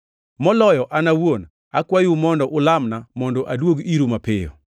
Moloyo an awuon, akwayou mondo ulamna mondo aduog iru mapiyo.